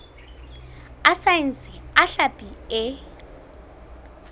a saense a hlapi e